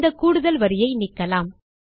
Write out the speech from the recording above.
இந்த கூடுதல் வரியை நீக்கலாம்